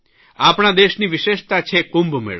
આપણા દેશની વિશેષતા છે કુંભમેળો